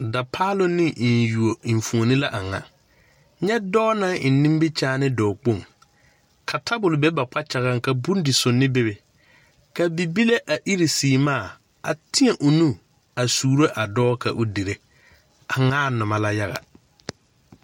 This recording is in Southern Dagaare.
Dapaalon ne mfuoni yuoni la a nga nye doɔ nang eng nimikyaan doɔ kpong ka tabol be ba kpakyagan ka bundisunni bebe ka bibile a iri seemaa a teɛ ɔ nu a suuro a doɔ ka ɔ dire a ngaa numa la yaga.